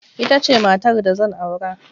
Ita ce matar da zan aura.